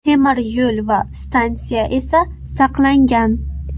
Temir yo‘l va stansiya esa saqlangan.